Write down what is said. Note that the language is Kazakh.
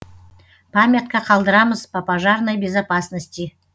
памятка қалдырамыз по пожарной безопасности